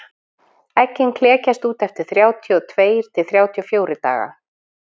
eggin klekjast út eftir þrjátíu og tveir til þrjátíu og fjórir daga